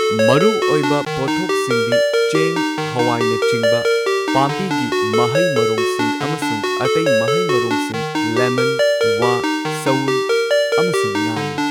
ꯃꯔꯨꯑꯣꯏꯕ ꯄꯣꯠꯊꯣꯛꯁꯤꯡꯗꯤ ꯆꯦꯡ ꯍꯋꯥꯏꯅꯆꯤꯡꯕ ꯄꯥꯝꯕꯤꯒꯤ ꯃꯍꯩ ꯃꯔꯣꯡꯁꯤꯡ ꯑꯃꯁꯨꯡ ꯑꯇꯩ ꯃꯍꯩ ꯃꯔꯣꯡꯁꯤꯡ, ꯂꯦꯃꯟ, ꯋꯥ, ꯁꯎꯟ ꯑꯃꯁꯨꯡ ꯉꯥꯅꯤ꯫